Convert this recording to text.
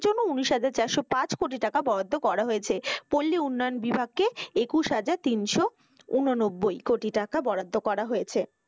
উনিশ হাজার চারশো পাঁচ কোটি টাকা বরাদ্দ করা হয়েছে, পল্লী উন্নয়ন বিভাগকে একুশ হাজার তিনশো ঊননব্বই কোটি টাকা বরাদ্দ করা হয়েছে।